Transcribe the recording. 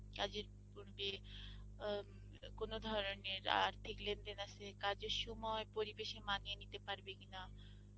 কাজের পূর্বে আ কোনো ধরনের আর্থিক লেনদেন আছে কাজের সময়ে পরিবেশে মানিয়ে নিতে পারবে কিনা,